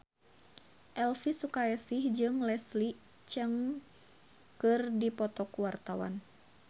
Elvy Sukaesih jeung Leslie Cheung keur dipoto ku wartawan